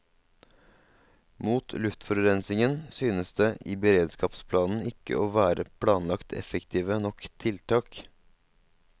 Mot luftforurensningen synes det i beredskapsplanen ikke å være planlagt effektive nok tiltak.